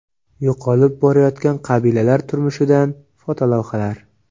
Yo‘qolib borayotgan qabilalar turmushidan fotolavhalar.